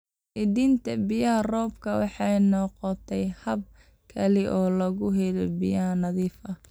Keydinta biyaha roobka waxay noqotay hab kale oo lagu helo biyo nadiif ah.